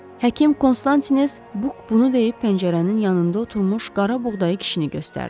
Həkim Konstantines Buk bunu deyib pəncərənin yanında oturmuş qarabuğdayı kişini göstərdi.